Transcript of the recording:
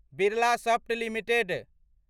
Birlasoft limited